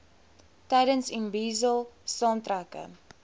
tydens imbizo saamtrekke